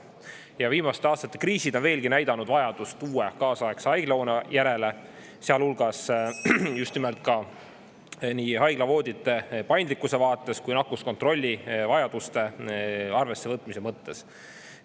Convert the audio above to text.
Ja viimaste aastate kriisid on veelgi näidanud vajadust uue kaasaegse haiglahoone järele, sealhulgas just nimelt ka nii haiglavoodite paindlikkuse vaates kui nakkuskontrolli vajaduste arvesse võtmise mõttes.